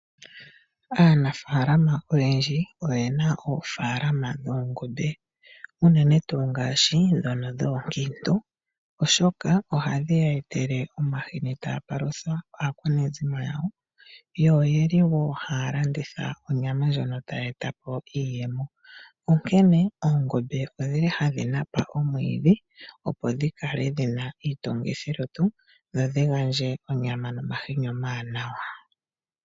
Aanafaalama oyendji oye na oofaalama dhoongombe unene tuu ndhoka oonkiitu , oshoka ohadhi ya pe omahini taa palutha aakwanezimo yawo. Ohaya landitha wo onyama ndjono tayi e ta po iimo. Onkene oongombe ohadhi napa omwiidhi, opo dhi kale dhi na iitungithilutu, dho dhi gandje onyama nomahini omawanawa.